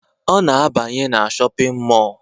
Ọ na-abanye na shọpịn mọọ